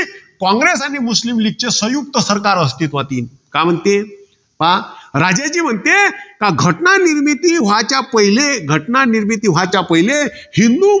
कॉंग्रेस आणि मुस्लीम लीग चे संयुक्त सरकार अस्तित्वात येईन. का म्हणते? पहा राजाजी म्हणते कि घटना निर्मिती व्हाच्या पहिले, घटना निर्मिती व्हाच्या पहिले हिंदू,